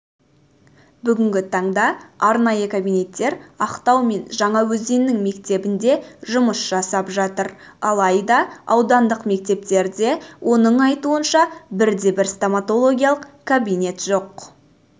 бүгінгі таңда арнайы кабинеттер ақтау мен жаңаөзеннің мектебінде жұмыс жасап жатыр алайда аудандық мектептерде оның айтуынша бірде-бір стоматологиялық кабинет жоқ